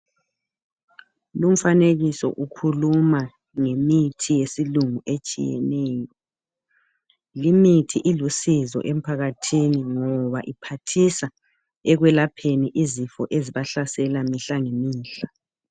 Lumfanekiso ukhuluma ngemithi yesilungu etshiyeneyo. Limithi ilusizo emphakathini ngoba iphathisa ekwelapheni izifo ezibahlasela mihla ngemihla.